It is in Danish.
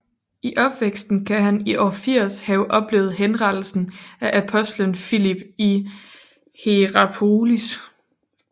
I opvæksten kan han i år 80 have oplevet henrettelsen af apostelen Filip i Hierapolis